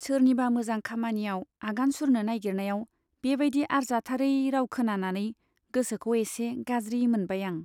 सोरनिबा मोजां खामानियाव आगान सुरनो नाइगिरनायाव बे बाइदि आरजाथारै राव खोनानानै गोसोखौ एसे गाज्रि मोनबाय आं।